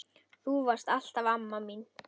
Þú varst alltaf amma mín.